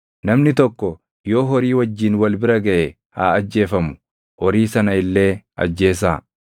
“ ‘Namni tokko yoo horii wajjin wal bira gaʼe haa ajjeefamu; horii sana illee ajjeesaa.